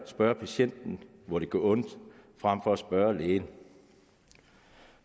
spørge patienten hvor det gør ondt frem for at spørge lægen